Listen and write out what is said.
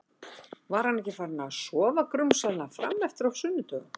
Var hann ekki farinn að sofa grunsamlega fram eftir á sunnudögum?